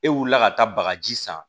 E wulila ka taa bagaji san